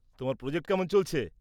তোমার প্রজেক্ট কেমন চলছে?